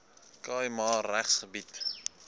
khai ma regsgebied